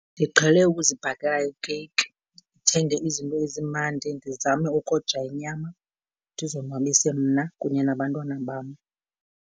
Ndiqhele ukuzibhakela ikeyiki, ndithenge izinto ezimandi, ndizame ukoja inyama, ndizonwabise mna kunye nabantwana bam.